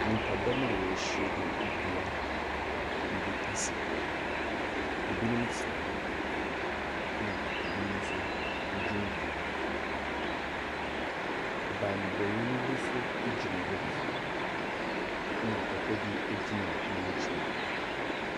Nnipadɔm a wɔahyia mu wɔ dua bi ase. Ebinom tena hɔ na ebinom nso gyinagyina hɔ. bammɔni bi nso gyina hɔ bi, na papa bi gyina ne nkyɛn.